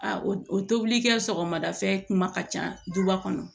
A o o tobili kɛ sɔgɔmada fɛ kuma ka ca duba kɔnɔ